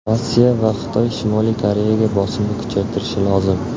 Rossiya va Xitoy Shimoliy Koreyaga bosimni kuchaytirishi lozim.